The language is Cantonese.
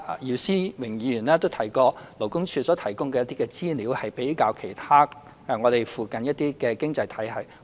姚思榮議員剛才提到勞工處所提供的一些資料，與我們附近的一些經濟體系作比較。